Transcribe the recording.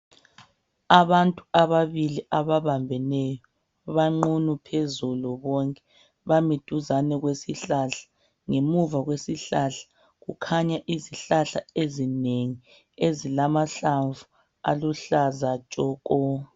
Abantu ababili ababambeneyo abanqunu phezulu bonke bami duzane kwesihlahla ngemuva kwesihlahla kukhanya izihlahla ezinengi ezilamahlamvu aluhlaza tshoko.